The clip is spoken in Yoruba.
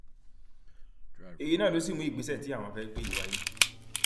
èyí náà ló sì mú ìgbésẹ tí àwọn fẹẹ gbé yìí wáyé